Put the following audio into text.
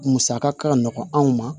Musaka ka nɔgɔn anw ma